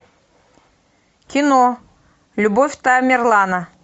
кино любовь тамерлана